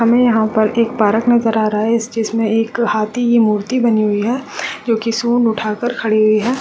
हमें यहाँ एक पार्क नज़र आ रहा है इस चीज़ में हाथी की मूर्ति बनी हुई हैं जोकि सूड़ उठा कर खड़ी हुई है।